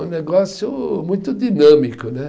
Um negócio muito dinâmico, né?